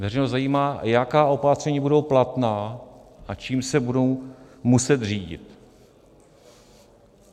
Veřejnost zajímá, jaká opatření budou platná a čím se budou muset řídit.